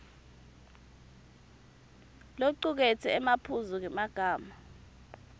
locuketse emaphuzu ngemagama